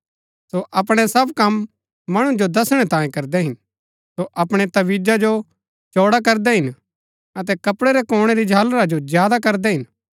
सो अपणै सब कम मणु जो दसणै तांयें करदै हिन सो अपणै तबीजा जो चौड़ा करदै हिन अतै कपड़ै रै कोणै री झालरा जो ज्यादा करदै हिन